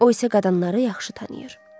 O isə qadınları yaxşı tanıyır.